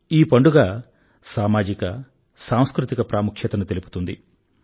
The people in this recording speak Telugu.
ఈ పండుగ సామాజిక సాంస్కృతిక ప్రాముఖ్యతను తెలుపుతుంది